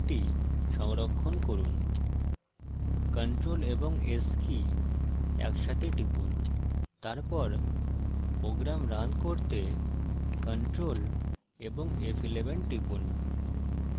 এখন এই file সংরক্ষণ করুন ctrl & s key একসাথে টিপুন তারপর program রান করতে ctrl ও f11 টিপুন